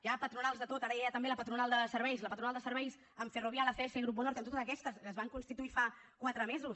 hi ha patronals de tot ara hi ha també la patronal de serveis la patronal de serveis amb ferrovial acs i grupo norte amb totes aquestes es van constituir fa quatre mesos